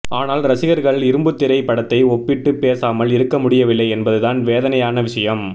ஆனால் ரசிகர்கள் இரும்புத்திரை படத்தை ஒப்பிட்டு பேசாமல் இருக்க முடியவில்லை என்பது தான் வேதனையான விஷயம்